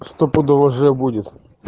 стопудово же будет